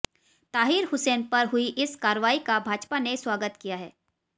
ताहिर हुसैन पर हुई इस कार्रवाई का भाजपा ने स्वागत किया है